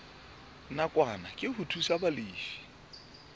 nakwana ke ho thusa balefi